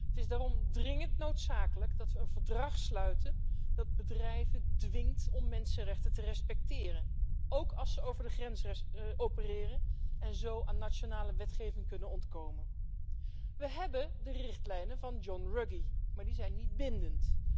Het is daarom dringend noodzakelijk dat we een verdrag sluiten dat bedrijven dwingt om mensenrechten te respecteren, ook als ze over de grens opereren en zo aan nationale wetgeving kunnen ontkomen. We hebben de richtlijnen van John Ruggie, maar die zijn niet bindend.